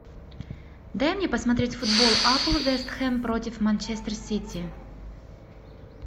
дай мне посмотреть футбол апл вест хэм против манчестер сити